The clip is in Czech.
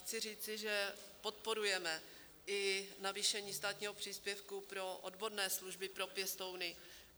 Chci říci, že podporujeme i navýšení státního příspěvku pro odborné služby pro pěstouny.